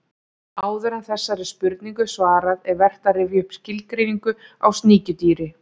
Áður en þessari spurningu er svarað er vert að rifja upp skilgreiningu á sníkjudýri.